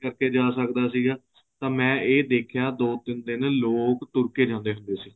ਜਾ ਸਕਦਾ ਸੀਗਾ ਤਾਂ ਮੈਂ ਇਹ ਦੇਖਿਆ ਦੋ ਤਿੰਨ ਦਿਨ ਲੋਕ ਤੁਰਕੇ ਜਾਂਦੇ ਸੀ